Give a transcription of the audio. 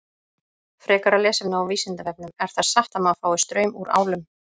Frekara lesefni á Vísindavefnum: Er það satt að maður fái straum úr álum?